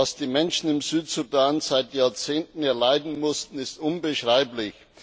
Was die Menschen im Südsudan seit Jahrzehnten erleiden mussten, ist unbeschreiblich!